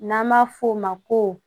N'an b'a f'o ma ko